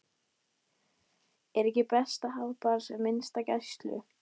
Er ekki best að hafa bara sem minnsta gæslu?